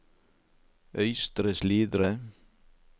Øystre Slidre